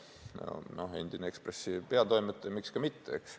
Ta on endine Eesti Ekspressi peatoimetaja, nii et miks ka mitte, eks ole.